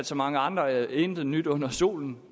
så mange andre intet nyt er under solen